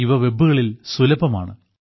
ഇവ വെബുകളിൽ സുലഭമാണ്